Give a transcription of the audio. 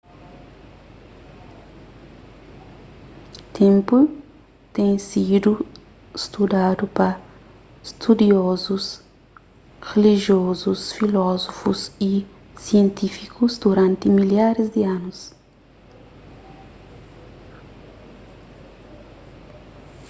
ténpu ten sidu studadu pa studiozus rilijozus filozófus y sientífikus duranti milharis di anus